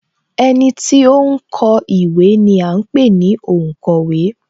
Ẹniti ó ń kọ ìwé ni à ń pè ní onkowe